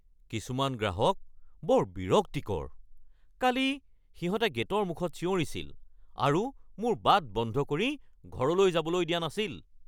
কিছুমান গ্ৰাহক বৰ বিৰক্তিকৰ। কালি সিহঁতে গে'টৰ মুখত চিঞৰিছিল আৰু মোৰ বাট বন্ধ কৰি ঘৰলৈ যাবলৈ দিয়া নাছিল!